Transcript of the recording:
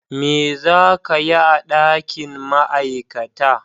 Me za ka yi a dakin Ma'aikata?